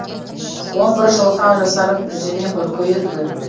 он бір жылға жасарып жүзіме күлкі үйірілді